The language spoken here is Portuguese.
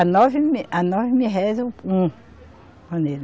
A nove mil, a nove mil réis é um, um pandeiro.